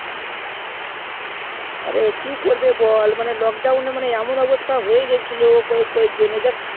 আরে কি করব বল মানে lockdown এ মানে এমন অবস্থা হয়ে গেলছিলো কয়েক কয়েক জনের